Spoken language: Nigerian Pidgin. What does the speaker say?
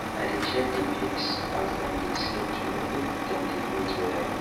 i dey check the pigs as dem dey sleep to know if dem dey breathe well